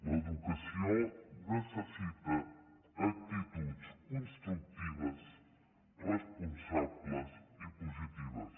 l’educació necessita actituds constructives responsables i positives